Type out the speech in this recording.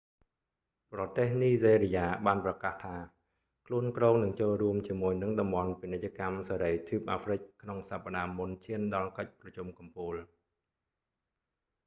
ប្រទេសនីហ្សេរីយ៉ាបានប្រកាសថា ខ្លួនគ្រោងនឹងចូលរួមជាមួយនឹងតំបន់ពាណិជ្ជកម្មសេរីទ្វីបអាហ្រ្វិក afcfta ក្នុងសប្តាហ៍មុនឈានដល់កិច្ចប្រជុំកំពូល